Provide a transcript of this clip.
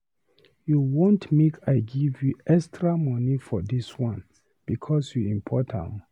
You wan make I give you extra money for this one because you import am